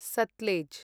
Sutlej